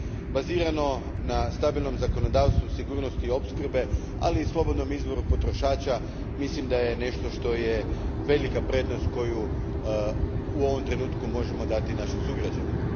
Bazirano na stabilnom zakonodavstvu i sigurnosti opskrbe, ali i slobodnom izboru potrošača, mislim da je nešto što je velika prednost koju u ovom trenutku možemo dati našim sugrađanima.